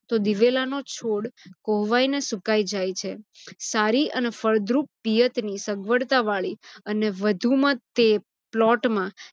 તો દિવેલાનો છોડ કોહવાઇને સુકાય જાય છે. સારી અને ફળદ્રુપ પિયતની સગવળતા વાળી અને વધુમાં તે plot માં